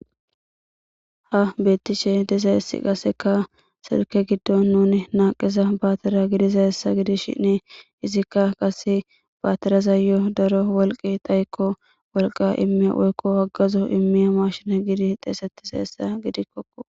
Ha beettishe diza essi qaseka sirke giddon nuni naaqeza baatira gidiza hessa gidi shinni izikka qase baatiraza yo daro wolqi dayikko wolqa ime woykko wagazo immiya mashina gidi xeesetiza hessa gidikkokko.